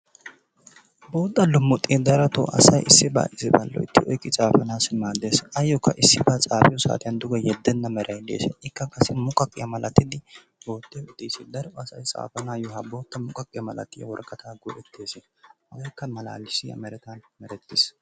Bootta lumuxxee darotoo asay issibaa issibaa loytti oyqqi tsaafanassi maaddees. Ayookka issiba tsaafiyoo saatiyaan duuge yeeddena meeray de'ees. Ikka qassi muqqaqqyiyaa malattiidi daro asay tsafanayoo ha bootta muqqaqqiyaa malatiyaa woraqaataa go"ettoosona. hegeekka malalisiyaa merettaa merettiis.